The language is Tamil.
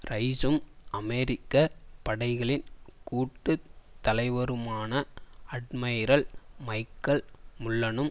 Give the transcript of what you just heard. ரைஸும் அமெரிக்க படைகளின் கூட்டு தலைவருமான அட்மைரல் மைக்கல் முல்லனும்